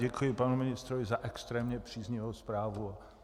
Děkuji panu ministrovi za extrémně příznivou zprávu.